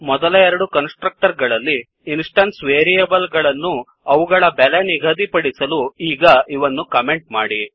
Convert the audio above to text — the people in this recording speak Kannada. ಮೊದಲ ಎರಡು ಕನ್ಸ್ ಟ್ರಕ್ಟರ್ ಗಳಲ್ಲಿ ಇನ್ಸ್ಟೆನ್ಸ್ ವೇರಿಯೇಬಲ್ ಗಳನ್ನು ಅವುಗಳ ಬೆಲೆ ನಿಗಧಿಪಡಿಸಲು ಈಗ ಇವನ್ನು ಕಮೆಂಟ್ ಮಾಡಿ